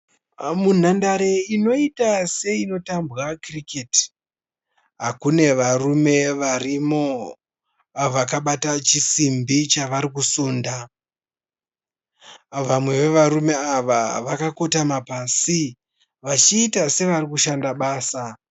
Munhandare inoita seinotambwa kiriketi kune varume varimo vakabata chisimbi chavari kusunda. Vamwe vevarume ava vakakotama pasi vachiita sevari kushanda basa.